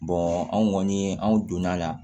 anw kɔni an donna a la